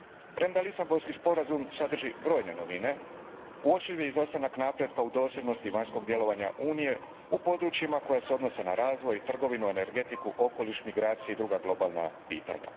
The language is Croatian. Premda Lisabonski sporazum sadrži brojne novine, uočljiv je izostanak napretka u dosljednosti vanjskog djelovanja Unije u područjima koji se odnose na razvoj, trgovinu, energetiku, okoliš, migracije i druga globalna pitanja.